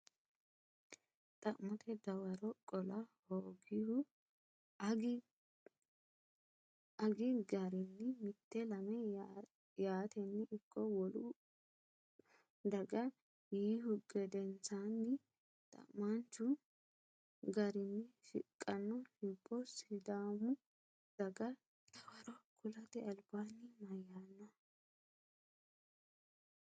Xa’mote dawaro qola hoogihu “Agi garinni mite lame yaatenni ikko wolu daga” yiihu gedensaanni xa’maanchu garinni shiqqanno hibbo Sidaamu daga dawaro kulate albaanni mayyaanno?